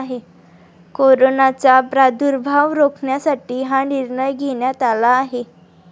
कोरोनाचा प्रादुर्भाव रोखण्यासाठी हा निर्णय घेण्यात आला आहे.